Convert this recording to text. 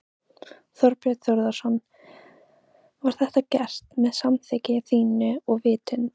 Þorbjörn Þórðarson: Var þetta gert með samþykki þínu og vitund?